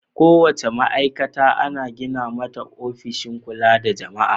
Kowace ma'aikata ana gina mata ofishin kula da jama'a.